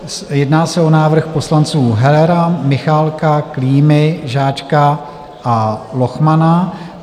Jedná se o návrh poslanců Hellera, Michálka, Klímy, Žáčka a Lochmana.